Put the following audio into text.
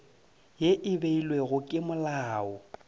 ye e beilwego ke molao